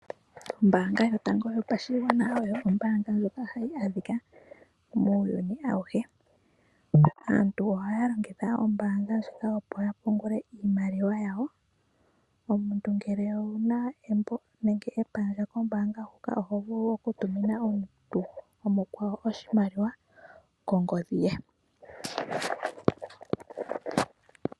Ombaanga yotango yopashigwana oyo ombaanga ndjoka hayi adhika muuyuni awuhe. Aantu ohaya longitha ombaanga ndjika opo ya pungule iimaliwa yawo. Omuntu ngele owu na embo nenge epandja kombaanga huka, oho vulu okutumina omuntu omukwawo oshimaliwa kongodhi ye.